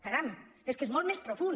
caram és que és molt més profund